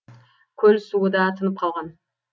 көл суы да тынып қалған